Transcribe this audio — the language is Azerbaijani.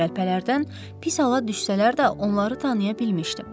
Qəlpələrdən pis hala düşsələr də onları tanıya bilmişdim.